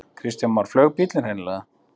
Kristján Már: Flaug bíllinn hreinlega?